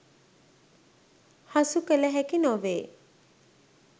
හසු කළ හැකි නොවේ.